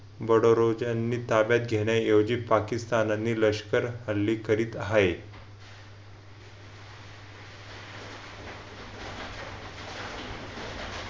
बडोरोज यांनी ताब्यात घेण्या ऐवजी पाकिस्तान आणि लष्कर हल्ले करीत आहेत.